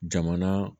Jamana